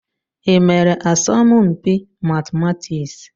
Ị mere asọmpi matịmatịks?